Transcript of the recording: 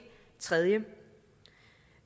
tredje